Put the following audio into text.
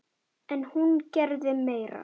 En hún gerði meira.